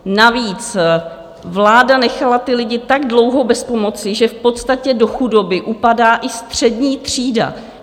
Navíc vláda nechala ty lidi tak dlouho bez pomoci, že v podstatě do chudoby upadá i střední třída.